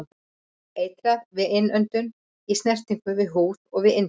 Eitrað við innöndun, í snertingu við húð og við inntöku.